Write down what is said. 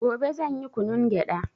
Gobe zanyi kunun gyada